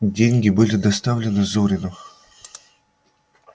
деньги были доставлены зурину